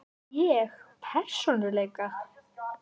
Ég persónulega?